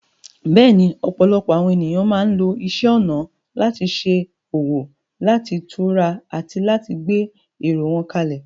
Bẹ́ẹ̀ni, ọ̀pọ̀lọpọ̀ àwọn ènìyàn máa ń lo isẹ́ ọnà àti iṣẹ́ ọwọ́ láti tura àti láti gbé èrò wọn kalẹ̀.